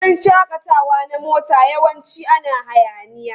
Wurin shakatawa na mota yawanci ana hayaniya.